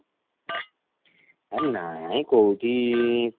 ଆରେ ନାଇଁ କଉଠି